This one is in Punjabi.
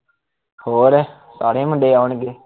ਹੋਰ ਸਾਰੇ ਮੁੰਡੇ ਆਉਣਗੇ